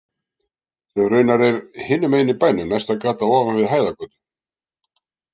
Sem raunar er hinum megin í bænum, næsta gata ofan við Hæðargötu.